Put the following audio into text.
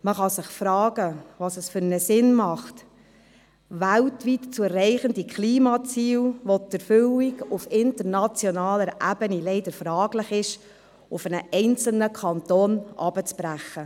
Man kann sich fragen, welchen Sinn es macht, weltweit zu erreichende Klimaziele, deren Erfüllung auf internationaler Ebene leider fraglich ist, auf einen einzelnen Kanton herunterzubrechen.